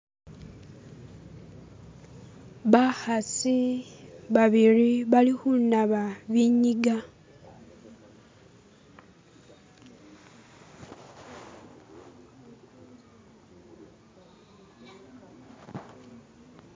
bakhasi babili balikhunaba binyigaa.